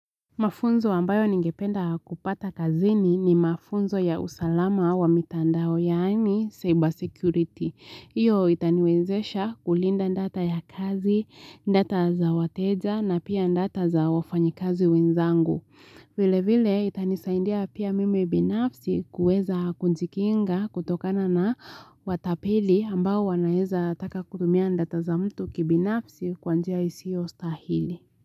Mafunzo ambayo ningependa kupata kazini ni mafunzo ya usalama wa mitandao yaani cyber security. Hiyo itaniwezesha kulinda data ya kazi, data za wateja na pia data za wafanyikazi wenzangu. Vile vile itanisaidia pia mimi binafsi kuweza kujikinga kutokana na watapeli ambao wanaeza taka kutumia data za mtu kibinafsi kwa njia isiyo stahili.